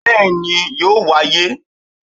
Bẹ́ẹ̀ni yóò wáyé